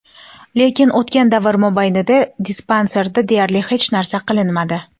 Lekin o‘tgan davr mobaynida dispanserda deyarli hech narsa qilinmadi.